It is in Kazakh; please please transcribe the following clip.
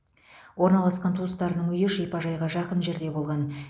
орналасқан туыстарының үйі шипажайға жақын жерде болған